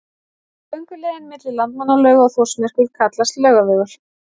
Gönguleiðin milli Landmannalauga og Þórsmerkur kallast Laugavegur.